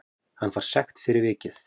Hann fær sekt fyrir vikið